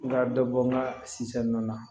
N ka dɔ bɔ n ka na